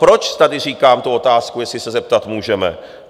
Proč tady říkám tu otázku, jestli se zeptat můžeme?